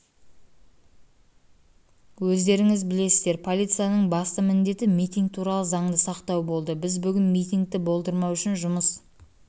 өздеріңіз білесіздер полицияның басты міндеті митинг туралы заңды сақтау болды біз бүгін митингті болдырмау үшін жұмыс